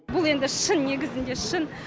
бұл енді шын негізінде шын